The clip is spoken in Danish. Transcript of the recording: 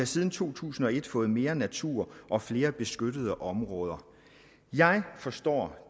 siden to tusind og et har fået mere natur og flere beskyttede områder jeg forstår